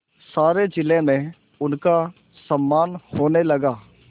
सारे जिले में उनका सम्मान होने लगा